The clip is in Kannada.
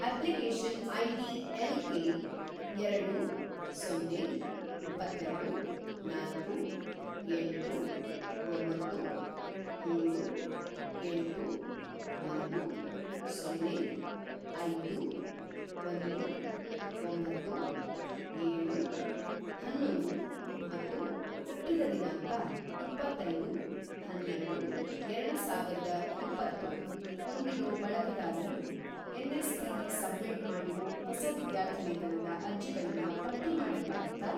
ಅಪ್ಲಿಕೇಷನ್‌ ಐಡಿ ಎಲ್‌ ಕೆ ಎರಡು, ಸೊನ್ನೆ, ಇಪ್ಪತ್ತೆರಡು, ನಾಲ್ಕು, ಎಂಟು, ಒಂಬತ್ತು, ಮೂರು, ಎಂಟು, ಒಂದು, ಸೊನ್ನೆ, ಐದು, ಒಂದು, ಒಂಬತ್ತು, ಏಳು, ಹನ್ನೊಂದು ಮತ್ತು ಹುಟ್ಟಿದ ದಿನಾಂಕ ಇಪ್ಪತ್ತೈದು-ಹನ್ನೆರಡು-ಎರಡುಸಾವಿರದ ಇಪ್ಪತ್ತು ಹೊಂದಿರೋ ಬಳಕೆದಾರರು ಎನ್.ಎಸ್.ಪಿ.ಲಿ ಸಬ್ಮಿಟ್‌ ಮಾಡಿರೋ ಹೊಸ ವಿದ್ಯಾರ್ಥಿವೇತನದ ಅರ್ಜಿಗಳನ್ನ ಪಟ್ಟಿ ಮಾಡಕ್ಕಾಗತ್ತಾ?